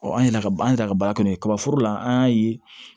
an yɛrɛ ka an yɛrɛ ka baara kɛ n'o ye kaba forola an y'a ye